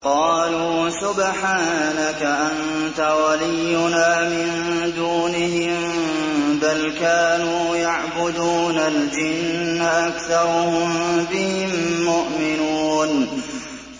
قَالُوا سُبْحَانَكَ أَنتَ وَلِيُّنَا مِن دُونِهِم ۖ بَلْ كَانُوا يَعْبُدُونَ الْجِنَّ ۖ أَكْثَرُهُم بِهِم مُّؤْمِنُونَ